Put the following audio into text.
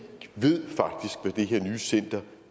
her nye center